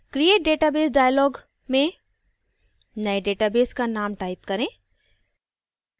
create database dialog में नये database का name type करें